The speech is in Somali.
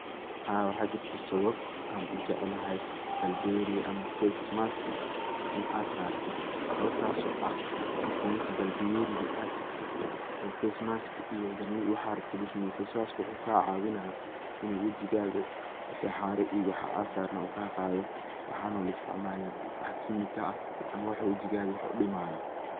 Haa waxa jirto sawab an ujeclahy babliyeriga, ama face maska in sarto sawabtas oo ah marki meshi babliyeriga a tagto, oo face maska iyo jarmo waxad rabto lagusameyo, face maska wuxu kacawina in wejigaga wixi hara iyo wixi asarna uu kaqado. waxono laistacmalin wax kemika ah ama wax wejigaga wax udimayah.